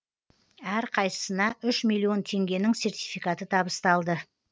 әрқайсысына үш миллион теңгенің сертификаты табысталды